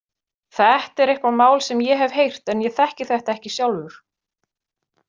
Þetta er eitthvað mál sem ég hef heyrt en ég þekki þetta ekki sjálfur.